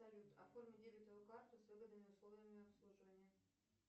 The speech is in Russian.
салют оформи дебетовую карту с выгодными условиями обслуживания